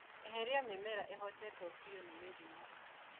Eheria mĩmera ĩhotetwo biũ nĩ mĩrimũ.